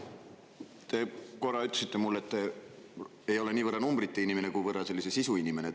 Te korra ütlesite mulle, et te ei ole mitte niivõrd numbrite inimene, kuivõrd sisu inimene.